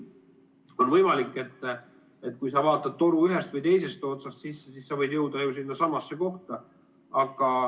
On võimalik, et kui sa vaatad toru ühest või teisest otsast sisse, siis sa võid jõuda ju sinnasamasse kohta.